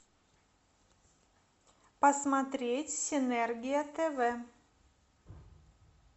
посмотреть синергия тв